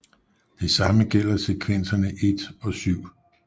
Det samme gælder sekvenserne 1 og 7